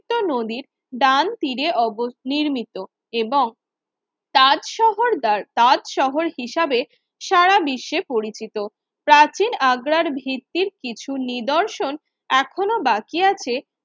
নদীর ডান তীরে অবস নির্মিত এবং তাজ শহর বার তাজ শহর হিসাবে সারা বিশ্বে পরিচিত প্রাচীন আগ্রার ভিত্তির কিছু নিদর্শন এখনো বাকি আছে